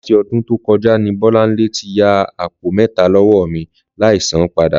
Láti ọdún tó kọjá ni Bọ́láńlé ti ya àpò mẹ́ta lọ́wọ́ mi láì sán padà